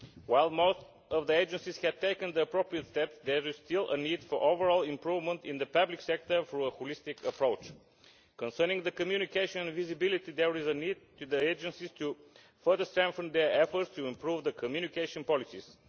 While most of the agencies have taken the appropriate steps, there is still a need for overall improvement in the public sector and for a holistic approach. Concerning communication and visibility, there is a need for the agencies to further strengthen their efforts to improve their communication policies.